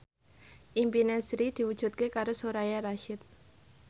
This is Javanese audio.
impine Sri diwujudke karo Soraya Rasyid